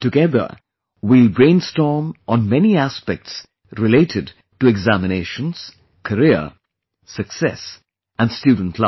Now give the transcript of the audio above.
Together we will brainstorm on many aspects related to examinations, career, success and student life